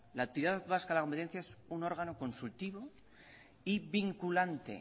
la autoridad vasca de la competencia es un órgano consultivo y vinculante